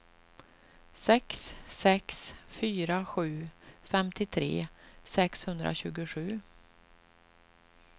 sex sex fyra sju femtiotre sexhundratjugosju